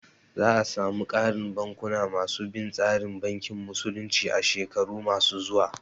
Za a samu ƙarin bankuna ma su bin tsarin bankin musulunci a shekaru ma su zuwa